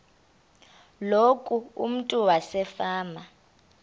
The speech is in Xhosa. loku umntu wasefama